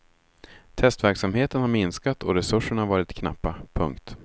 Testverksamheten har minskat och resurserna varit knappa. punkt